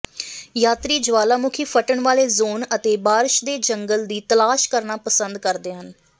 ਯਾਤਰੀ ਜੁਆਲਾਮੁਖੀ ਫਟਣ ਵਾਲੇ ਜ਼ੋਨ ਅਤੇ ਬਾਰਸ਼ ਦੇ ਜੰਗਲ ਦੀ ਤਲਾਸ਼ ਕਰਨਾ ਪਸੰਦ ਕਰਦੇ ਹਨ